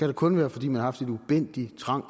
det kun være fordi man har haft en ubændig trang